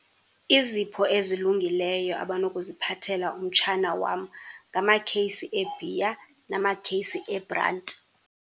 Izipho ezilungileyo abanokuziphathela umtshana wam ngamakheyisi ebhiya namakheyisi ebranti.